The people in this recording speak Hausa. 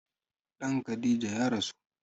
Ɗan Khadija ya rasu